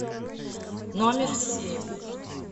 номер семь